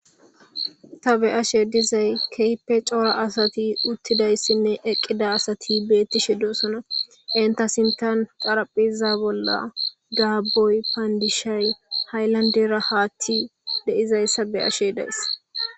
Ta be ashe dizay keype coora asati uttidayssinne eqqida asati beetti shi dossona enta sintan qaraphiza bolla gaaboy paandishay hayllandera haatti deizayssa be ashe dayssa.